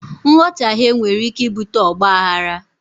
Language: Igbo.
Nghọtaghe nwere ike ibute ọgbaaghara.